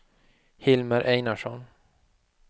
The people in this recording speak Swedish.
Hilmer Einarsson